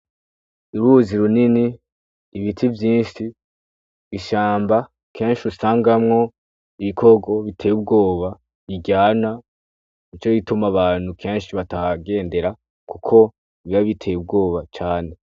Uruzi runini ibiti vyinshi gishamba kenshi usangamwo ibikoro biteye ubwoba biryana nu co rituma abantu kenshi batagendera, kuko biba biteye ubwoba cane.